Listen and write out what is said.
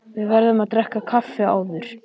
Við verðum að drekka kaffi áður.